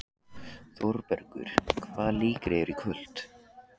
Þórbergur, hvaða leikir eru í kvöld?